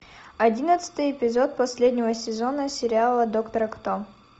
одиннадцатый эпизод последнего сезона сериала доктора кто